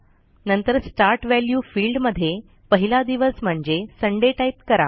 नंतरStart value फिल्डमध्ये पहिला दिवस म्हणजे सुंदय टाईप करा